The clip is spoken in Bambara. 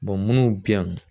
minnu bɛ yan